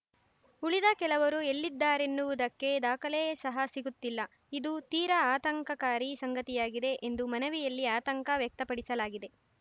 ಉಳಿದ ಕೆಲವರು ಎಲ್ಲಿದ್ದಾರೆನ್ನುವುದಕ್ಕೆ ದಾಖಲೆ ಸಹ ಸಿಗುತ್ತಿಲ್ಲ ಇದು ತೀರ ಆತಂಕಕಾರಿ ಸಂಗತಿಯಾಗಿದೆ ಎಂದು ಮನವಿಯಲ್ಲಿ ಆತಂಕ ವ್ಯಕ್ತಪಡಿಸಲಾಗಿದೆ